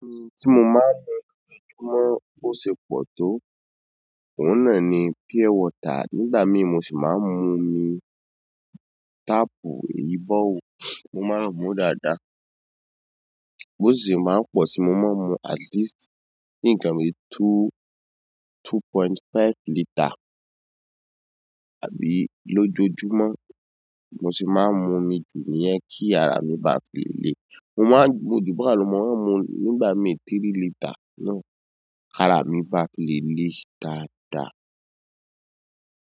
N tí mo máa ń lo nìkan tí mo kò sì pọ̀ tó òhun náà ni pure water. Nígbà míìí mo sì máa ń mu omi tapu eyii boreholebọ̀wọ́, mo máa ń mu dáadáa. Bó sìṣe máa pọ̀ sí mo máa ń mu at least níǹkan bíi two, two point five litre àbí lójoojúmọ́ mo sì máa ń mun mi jù nìyẹn kí ara mi bá fi le le. Mo máa ń mu jú bahun lọ mo máa ń mu nígbà mí ì three litre náà ara mi bá fi le le dáadáa.